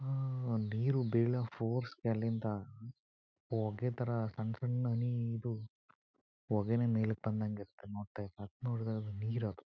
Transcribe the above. ಆಅ ನೀರು ಬೀಳೋ ಫೋರ್ಸ್ನಗೆ ಅಲ್ಲಿಂದ ಹೋಗೆ ಥರ ಸನ್ ಸಣ್ಣ ಹನಿ ಇದು ಹೊಗೆನೆ ಮೇಲಕೆ ಬಂದಂಗ್ ಇರ್ತ ಇದ್ರೆ ನೋಡಕ್ ಆದ್ರೆ ಅದು ನೀರದು.